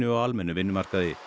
á almennum vinnumarkaði